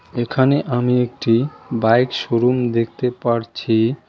এখানে আমি একটি বাইক শো-রুম দেখতে পারছি।